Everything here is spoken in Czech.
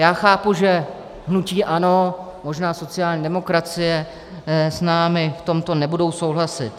Já chápu, že hnutí ANO, možná sociální demokracie s námi v tomto nebudou souhlasit.